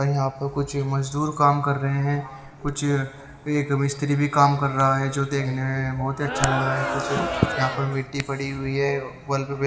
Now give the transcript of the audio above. ओर यहां पर कुछ मजदूर काम कर रहे हैं कुछ -- एक मिस्त्री भी काम कर रहा है जो देखने में बहुत ही अच्छा लग रहा है कुछ यहां पर मिट्टी पड़ी हुई है बल्क पे --